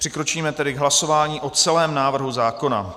Přikročíme tedy k hlasování o celém návrhu zákona.